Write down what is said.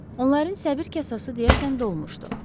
Onların səbir kasası deyəsən dolmuşdu.